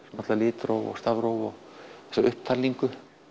náttúrulega litróf og stafróf og þessi upptalning